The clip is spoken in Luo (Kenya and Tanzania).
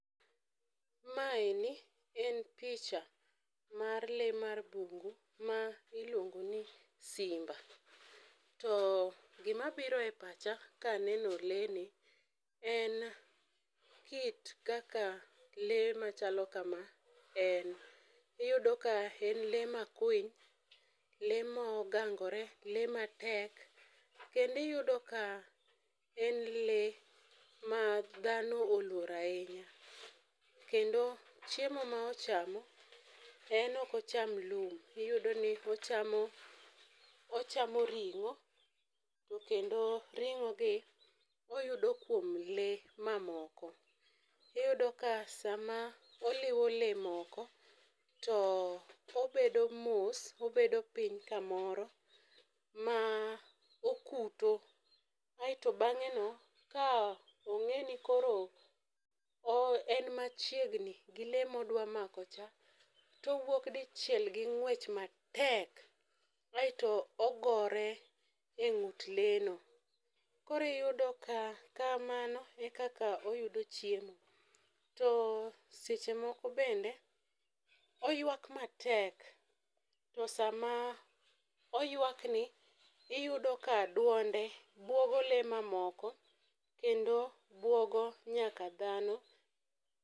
Maeni en picha, mar le mar bungu ma iluongo ni simba. To gimabiro e pacha kaneno lee ni en kit kaka lee machalo kama en. Iyudo ka en lee makwiny, lee mongangore, lee matek .Kendo iyudo ka en lee madhano oluoro ahinya. Kendo chiemo ma ochamo, en okocham lum, iyudoni en ochamo ring'o. To kendo ring'ogi oyudo kuom lee mamoko. Iyudo ka sama oliwo lee moko, to obedo mos, obedo piny kamoro ma okuto, aeto bang'eno ka ong'eni koro en machiegni gi lee modwa mako cha, to owuok dichiel gi ng'wech matek. Aeto ogore e ng'ut lee no. Koro iyudo ka kamano e kaka oyudo chiemo. To seche moko bende oyuak matek. To sama oyuakni, iyudo ka duonde buogo lee mamoko, kendo buogo nyaka dhano.